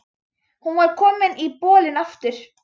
Hún var komin í bolinn aftur.